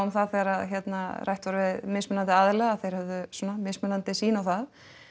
það þegar að hérna rætt var við mismunandi aðila að þeir höfðu svona mismunandi sýn á það